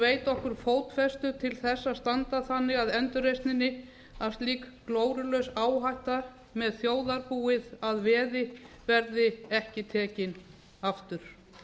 veita okkur fótfestu til að standa þannig að endurreisninni að slík glórulaus áhætta með þjóðarbúið að veði verði ekki tekin aftur